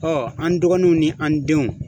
an dɔgɔnunw ni an denw